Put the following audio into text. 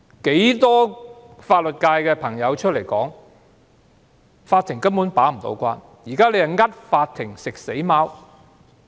很多法律界人士公開表示，法庭根本無法把關，現在是迫法庭"食死貓"。